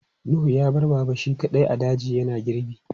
Nuhu ya bar Baba shi kaɗai a daji yana girbi.